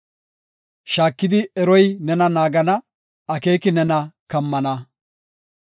Shaakidi eroy nena naagana; akeeki nena kammana.